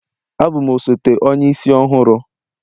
Abụ m osote Onye isi ọhụrụ